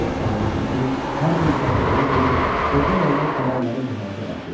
Ev sahibi Şəfi hər gün çayxanaya gedir, orada yayılan xəbərləri bu həyətə daşıyırdı.